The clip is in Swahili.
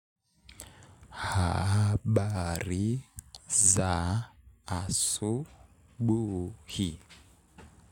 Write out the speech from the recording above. Habari za asubuhi?